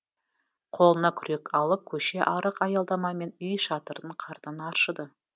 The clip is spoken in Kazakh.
қолына күрек алып көше арық аялдама мен үй шатырын қардан аршыды